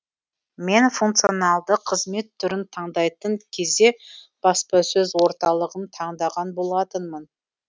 мен функционалды қызмет түрін таңдайтын кезде баспасөз орталығын таңдаған болатынмын